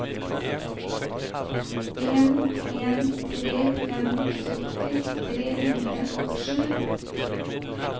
en en tre fem sytti tre hundre og sju